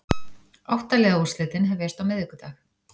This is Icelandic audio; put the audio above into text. Átta liða úrslitin hefjast á miðvikudag